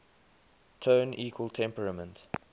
tone equal temperament